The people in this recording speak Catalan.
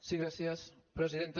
sí gràcies presidenta